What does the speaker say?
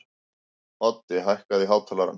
Oddi, hækkaðu í hátalaranum.